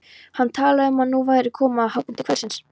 Hann talaði um að nú væri komið að hápunkti kvöldsins.